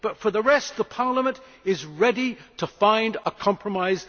But for the rest, Parliament is ready to find a compromise.